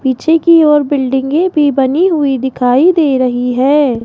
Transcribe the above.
पीछे की ओर बिल्डिंगे में भी बनी हुईं दिखाई दे रही हैं।